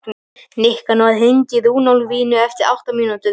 Nikanor, hringdu í Runólfínu eftir átta mínútur.